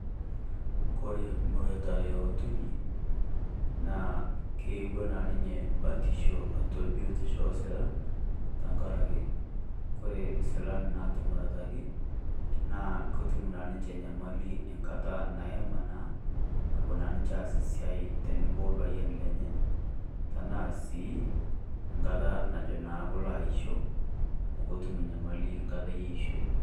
Kore muratare o ntoyei naa keewua naa ninye baatisho atua biotisho oosilan tang'araki kore silaan natumuratari naa ketum naa ninchee nyamali enkaata naemaa naa. Naboo na ninchee aas siai teneboo opayian lenye tana sii enkaata najo naa koloo aisho amu ketum nyamali nkaatai e ishoi.